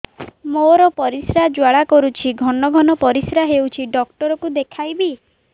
ମୋର ପରିଶ୍ରା ଜ୍ୱାଳା କରୁଛି ଘନ ଘନ ପରିଶ୍ରା ହେଉଛି ଡକ୍ଟର କୁ ଦେଖାଇବି